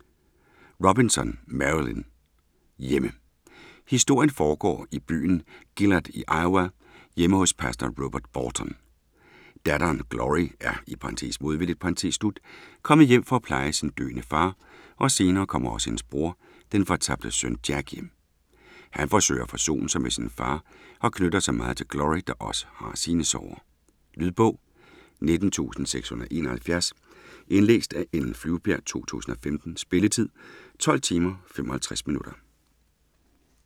Robinson, Marilynne: Hjemme Historien foregår i byen Gilead i Iowa hjemme hos pastor Robert Boughton. Datteren Glory er (modvilligt) kommet hjem for pleje sin døende far og senere kommer også hendes bror - den fortabte søn Jack - hjem. Han prøver at forsone sig med sin far og knytter sig meget til Glory, der også har sine sorger. Lydbog 19671 Indlæst af Ellen Flyvbjerg, 2015. Spilletid: 12 timer, 55 minutter.